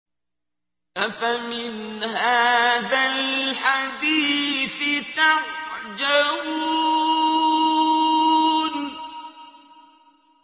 أَفَمِنْ هَٰذَا الْحَدِيثِ تَعْجَبُونَ